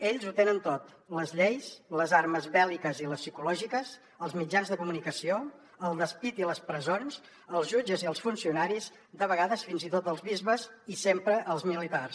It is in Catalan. ells ho tenen tot les lleis les armes bèl·liques i les psicològiques els mitjans de comunicació el despit i les presons els jutges i els funcionaris de vegades fins i tot els bisbes i sempre els militars